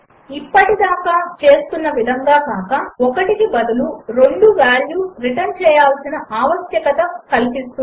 ఇప్పటిదాకా చేస్తున్న విధంగా కాక ఈ సమస్య ఒకటికి బదులు రెండు వాల్యూస్ రిటర్న్ చేయాల్సిన ఆవశ్యకత కల్పిస్తుంది